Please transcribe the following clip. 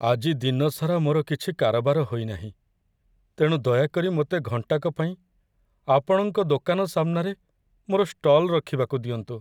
ଆଜି ଦିନସାରା ମୋର କିଛି କାରବାର ହୋଇନାହିଁ, ତେଣୁ ଦୟାକରି ମୋତେ ଘଣ୍ଟାକ ପାଇଁ ଆପଣଙ୍କ ଦୋକାନ ସାମନାରେ ମୋର ଷ୍ଟଲ୍‌ ରଖିବାକୁ ଦିଅନ୍ତୁ!